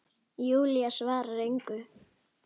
Júlía svarar engu.